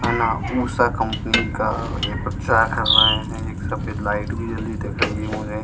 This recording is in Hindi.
है ना उषा कम्पनी का ये प्रचार कर रहे हैं एक सफेद लाइट भी जली हुई दिख रही है मुझे।